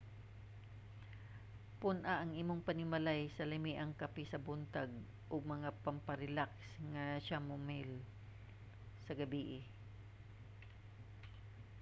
pun-a ang imong panimalay og lamiang kape sa buntag ug mga pamparelaks nga chamomile nga chamomile sa gabii